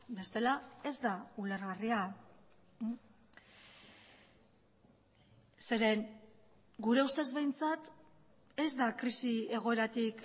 bestela ez da ulergarria zeren gure ustez behintzat ez da krisi egoeratik